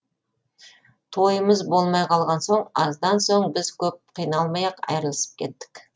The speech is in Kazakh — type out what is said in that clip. тойымыз болмай қалған соң аздан соң біз көп қиналмай ақ айрылысып кеттік